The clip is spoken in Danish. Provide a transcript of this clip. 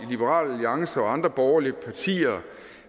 liberal alliance og andre borgerlige partier